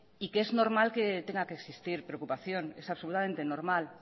y que es normal que tenga que existir preocupación es absolutamente normal